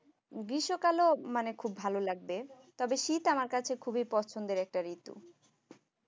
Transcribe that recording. গ্রীষ্ম কাল মানে খুব ভালো লাগবে। তবে শীত আমার কাছে খুব পছন্দের একটা ঋতু